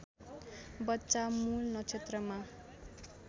बच्चा मूल नक्षत्रमा